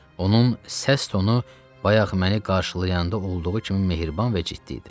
Onun səs tonu bayaq məni qarşılayanda olduğu kimi mehriban və ciddi idi.